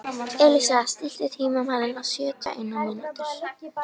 Elísa, stilltu tímamælinn á sjötíu og eina mínútur.